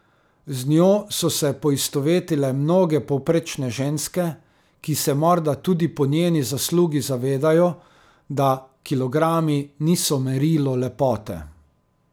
Z njo so se poistovetile mnoge povprečne ženske, ki se morda tudi po njeni zaslugi zavedajo, da kilogrami niso merilo lepote.